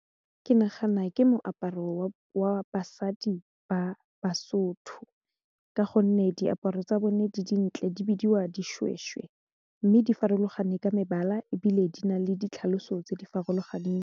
Ke nagana gore moaparo wa basadi ba basotho ka gonne diaparo tsa bone di dintle di bidiwa dishweshwe mme di farologaneng ka mebala ebile di na le ditlhaloso tse di farologaneng.